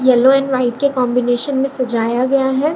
Yellow and white के combination मे सजाया गया है।